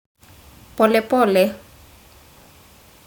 Pole pole.